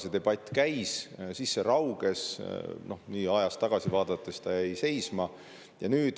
See debatt käis, siis see rauges, ajas tagasi vaadates on näha, et see jäi seisma.